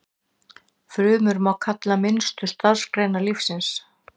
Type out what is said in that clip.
Frumur má kalla minnstu starfseiningar lífsins.